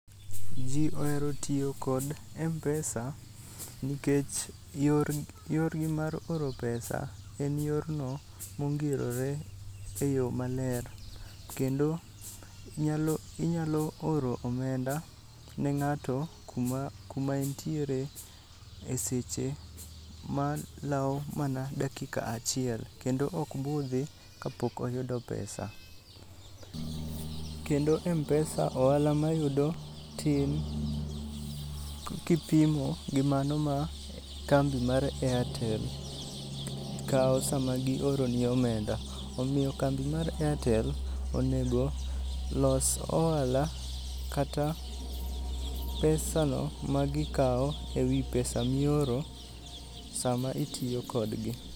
Ji ohero tiyo kod Mpesa nikech yor, yorgi mar oro pesa en yorno mongirore e yo maler. Kendo inyalo, inyalo oro omenda ne ng'ato kuma, kuma entiere e seche ma lwao mana dakika achiel. Kendo okbudhi kapok oyudo pesa. Kendo Mpesa ohala mayudo tin kipimo gi mano ma kambi mar Airtel kawo sama gioroni omenda. Omiyo kambi mar Airtel onego los ohala kata pesa no ma gikawo ewi pesa mioro sama itiyo kodgi.